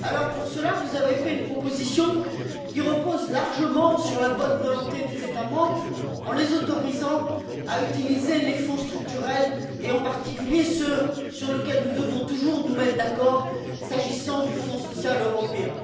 Pour cela, vous avez fait une proposition qui repose largement sur la bonne volonté des États membres, en les autorisant à utiliser les Fonds structurels et, en particulier, ceux sur lesquels nous devons toujours nous mettre d'accord, à savoir le Fonds social européen.